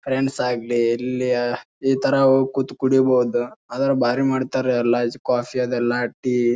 Friends ಆಗ್ಲಿ ಇಲ್ಲಿಯ ಈ ತರ ಹೋಗ ಕುತ್ ಕುಡೀಬಹುದು. ಆದ್ರ ಬಾರಿ ಮಾಡ್ತಾರಾ ಅಲ್ಲಿ ಕಾಫಿ ಅದಲ್ಲ ಟೀ .